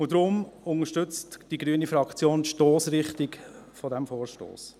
Deswegen unterstützt die grüne Fraktion die Stossrichtung dieses Vorstosses.